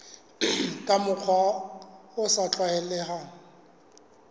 ka mokgwa o sa tlwaelehang